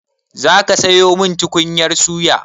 Za ka sayo min tukunyar suya?